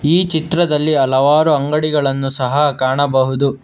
ಈ ಚಿತ್ರದಲ್ಲಿ ಹಲವಾರು ಅಂಗಡಿಗಳನ್ನು ಸಹ ಕಾಣಬಹುದು.